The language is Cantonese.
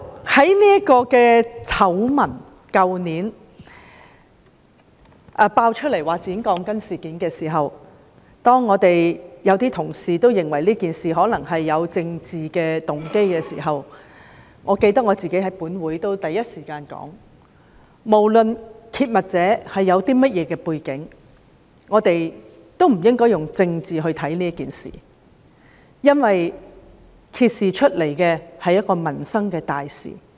去年爆出剪短鋼筋醜聞時，一些同事認為事件可能有政治動機，但我記得我是第一時間在本會發言指出，不論揭密者有何背景，我們亦不應以政治角度看待這件事，因為所揭示的是民生大事。